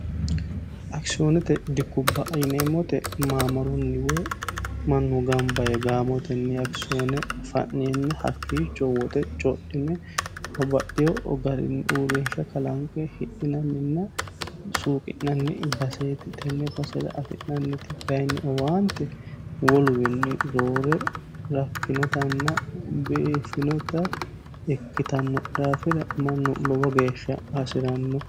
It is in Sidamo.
akisiyoonete dikubba yineemmot maamarunni woy mannu gambaye gaamootenni akisiyoone fa'nienna hakkiicho woote codhine obaxiyo garinni uurriinsha kalaanqe hidhinanninna suuqi'nanni baseeti tenne basera afi'nanniti kayinni owaante woluwinni roore rakkinotanna beefinota ikkitanno dhaafira mannu lowo geeshsha hasi'ranno